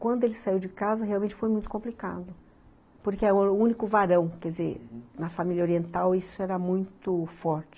Quando ele saiu de casa, realmente foi muito complicado, porque era o único varão, quer dizer, na família oriental isso era muito forte.